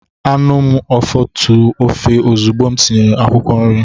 Ana m afotu ofe ozugbo m tinyere akwụkwọ nri.